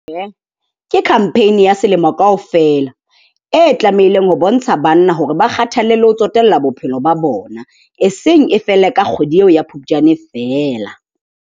Ke campaign ya selemo kaofela, e tlamehileng ho bontsha banna hore ba kgathalle le ho tsotellwa bophelo ba bona. E seng e fele ka kgwedi eo ya Phupjane feela.